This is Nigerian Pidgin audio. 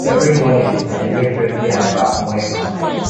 every morning i every morning i dey make sure sey i baff morning and night